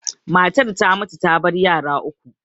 Matar ta mutu ta bar yara uku.